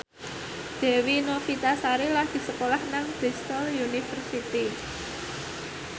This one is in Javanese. Dewi Novitasari lagi sekolah nang Bristol university